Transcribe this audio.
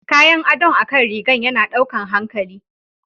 Kayan adon akan rigan yana ɗaukan hankali.